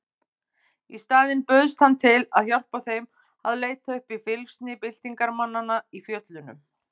Í staðinn bauðst hann til að hjálpa þeim að leita uppi fylgsni byltingarmanna í fjöllunum.